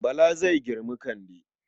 Bala zai girmi Kande.